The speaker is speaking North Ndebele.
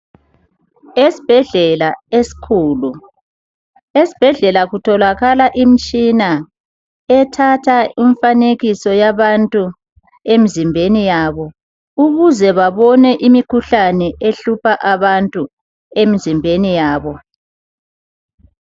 Esibhedlela esikhulu kutholakala umtshina othatha imifanekiso yabantu emzimbeni yabo ukuzecbabone imikhuhlane ehlupha abantu emizimbeni yabo.